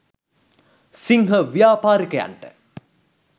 සිංහ ව්‍යාපාරිකයන්ට